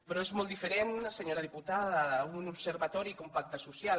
però és molt diferent senyora diputada un observatori que un pacte social